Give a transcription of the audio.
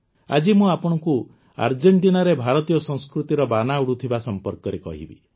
ଆଜି ମୁଁ ଆପଣଙ୍କୁ ଆର୍ଜେଂଟିନାରେ ଭାରତୀୟ ସଂସ୍କୃତିର ବାନା ଉଡ଼ୁଥିବା ସମ୍ପର୍କରେ କହିବି